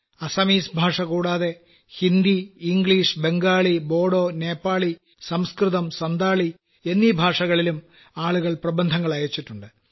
Assamese ഭാഷ കൂടാതെ Hindi English Bengali Bodo Nepali സംസ്കൃതം സന്താളി എന്നീ ഭാഷകളിലും ആളുകൾ പ്രബന്ധങ്ങൾ അയച്ചിട്ടുണ്ട്